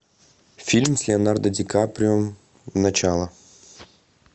фильм с леонардо ди каприо начало